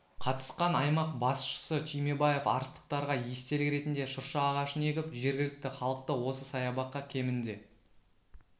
қатысқан аймақ басшысы түймебаев арыстықтарға естелік ретінде шырша ағашын егіп жергілікті халықты осы саябаққа кемінде